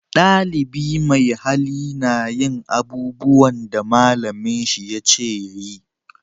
Dalibi mai hali na yin abubuwan da malamin shi ya ce ya yi